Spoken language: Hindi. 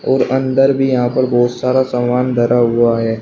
और अन्दर भी बहुत सारा सामान धारा हुआ है।